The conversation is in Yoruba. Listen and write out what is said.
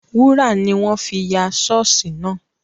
Wúrà ni wọ́n fi ya ṣọ́ọ̀ṣì náà